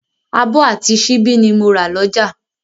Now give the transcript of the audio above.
Abọ́ àti síbí ni mo rà lọ́jà